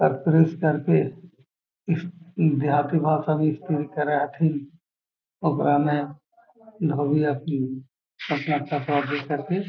और प्रेस कर के इ देहाती भासा में स्त्री करत हथीन सुबह में धोबी आके अपना कपड़ा दे कर के --